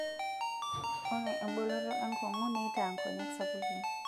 ore eboloto enkongi neitaa inkonyek sapukin